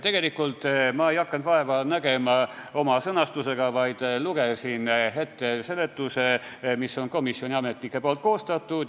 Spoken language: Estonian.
Tegelikult ma ei hakanud vaeva nägema oma sõnastusega, vaid lugesin ette seletuse, mis on komisjoni ametnike koostatud.